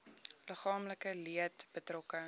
liggaamlike leed betrokke